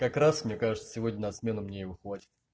как раз мне кажется сегодня на смену мне его хватит